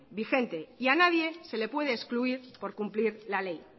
vigente y a nadie se le puede excluir por cumplir la ley